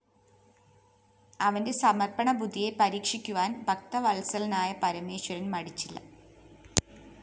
അവന്റെ സമര്‍പ്പണബുദ്ധിയെ പരീക്ഷിക്കുവാന്‍ ഭക്തവത്സലനായ പരമേശ്വരന്‍ മടിച്ചില്ല